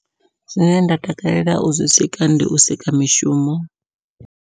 Zwine nda takalela u zwi sika ndi u sika mishumo.